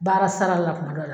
Baara sara la kuma dɔ la